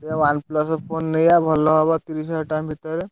ତୁ OnePlus phone ନେଇ ଆ ଭଲ ହବ, ତିରିଶ ହଜ଼ାର ଟଙ୍କା ଭିତରେ।